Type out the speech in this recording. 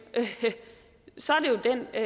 er